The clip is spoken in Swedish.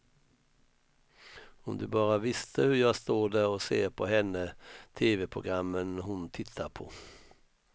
Om du bara visste hur jag står där och ser på henne, teveprogrammen hon tittar på.